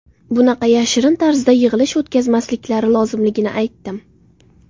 Bunaqa yashirin tarzda yig‘ilish o‘tkazmasliklari lozimligini aytdim.